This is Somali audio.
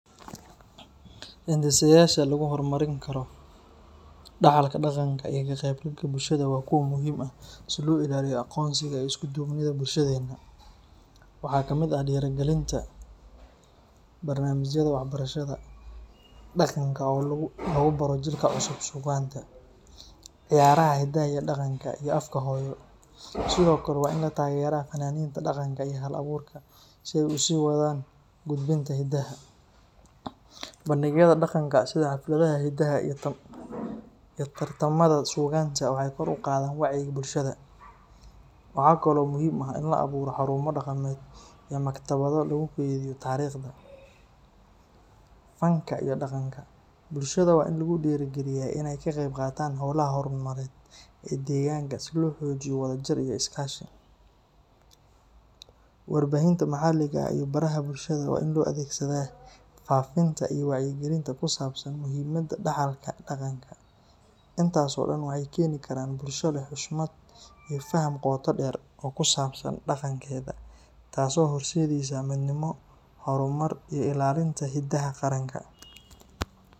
Hindisayaasha lagu horumarin karo dhaxalka dhaqanka iyo ka qeybgalka bulshada waa kuwo muhiim ah si loo ilaaliyo aqoonsiga iyo isku duubnida bulshadeena. Waxaa ka mid ah dhiirrigelinta barnaamijyada waxbarashada dhaqanka oo lagu baro jiilka cusub suugaanta, ciyaaraha hidaha iyo dhaqanka, iyo afka hooyo. Sidoo kale, waa in la taageeraa fanaaniinta dhaqanka iyo hal-abuurka si ay u sii wadaan gudbinta hiddaha. Bandhigyada dhaqanka, sida xafladaha hidaha iyo tartamada suugaanta, waxay kor u qaadaan wacyiga bulshada. Waxaa kaloo muhiim ah in la abuuro xarumo dhaqameed iyo maktabado lagu kaydiyo taariikhda, fanka iyo dhaqanka. Bulshada waa in lagu dhiirrigeliyaa inay ka qeyb qaataan hawlaha horumarineed ee deegaanka si loo xoojiyo wadajir iyo iskaashi. Warbaahinta maxalliga ah iyo baraha bulshada waa in loo adeegsadaa faafinta iyo wacyigelinta ku saabsan muhiimadda dhaxalka dhaqanka. Intaas oo dhan waxay keeni karaan bulsho leh xushmad iyo faham qoto dheer oo ku saabsan dhaqankeeda, taas oo horseedaysa midnimo, horumar iyo ilaalinta hiddaha qaranka.